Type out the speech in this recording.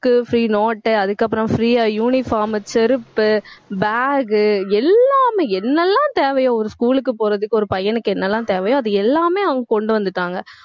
book க்கு free note உ அதுக்கு அப்பறம் free யா uniform செருப்பு bag உ எல்லாமே என்னெல்லாம் தேவையோ ஒரு போறதுக்கு ஒரு பையனுக்கு என்னெல்லாம் தேவையோ அது எல்லாமே அவங்க கொண்டு வந்துட்டாங்க